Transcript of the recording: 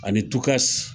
Ani tukasi